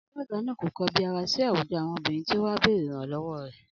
Alága náà kò kobiara síi àwùjọ àwọn obìrin tí o wà bèrè ìrànlọ́wọ́ re